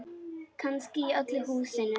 Kannski í öllu húsinu.